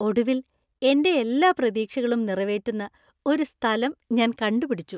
ഒടുവിൽ, എന്‍റെ എല്ലാ പ്രതീക്ഷകളും നിറവേറ്റുന്ന ഒരു സ്ഥലം ഞാൻ കണ്ടുപിടിച്ചു.